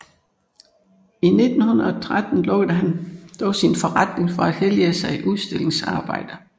I 1913 lukkede han dog sin forretning for at hellige sig udstillingsarbejde